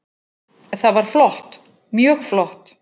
Það var flott, mjög flott.